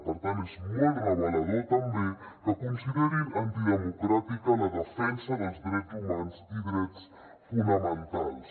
per tant és molt revelador també que considerin antidemocràtica la defensa dels drets humans i drets fonamentals